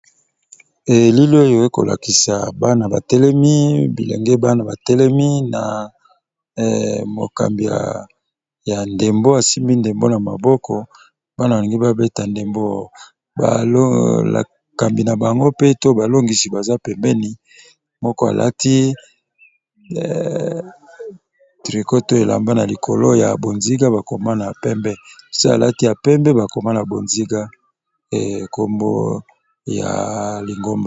Elili oyo ekolakisa bana batelemi bilenge bana batelemi na mokambi ya ndembo asimbi ndembo na maboko bana balingi babeta ndembo balokambi na bango mpe to balongisi baza pembeni moko alaki tricot to elamba na likolo ya bonziga bakoma na pembe, mususu alati ya pembe bakoma na bonziga kombo ya lingomba.